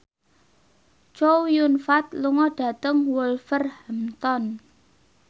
Chow Yun Fat lunga dhateng Wolverhampton